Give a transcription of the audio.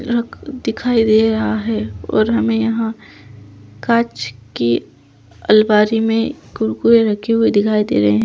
रख दिखाई दे रहा है और हमे यहाँ काच की अलमारी में कुरकुरे रखे हुए दिखाई दे रहे है।